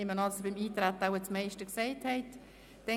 Ich nehme aber an, dass Sie beim Eintreten das meiste gesagt haben.